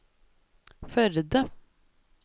Førde